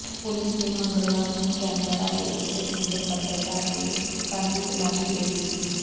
ਪੁਲਸ ਨੇ ਮੰਗਲਵਾਰ ਨੂੰ ਕੈਨਬਰਾ ਦੇ ਇਕ ਸੀਨੀਅਰ ਪੱਤਰਕਾਰ ਦੇ ਘਰ ਦੀ ਤਲਾਸ਼ੀ ਲਈ ਸੀ